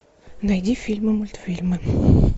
найди фильмы мультфильмы